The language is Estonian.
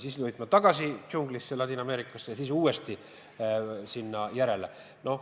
Siis sõidab ta tagasi džunglisse Ladina-Ameerikasse ja siis uuesti passile järele.